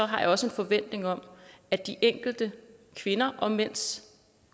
har jeg også en forventning om at de enkelte kvinder og mænds